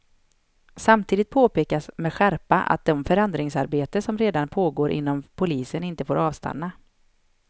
Samtidigt påpekas med skärpa att det förändringsarbete som redan pågår inom polisen inte får avstanna.